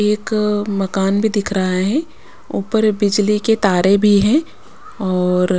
एक अ मकान भी दिख रहा है ऊपर बिजली के तारे भी हैं औोर --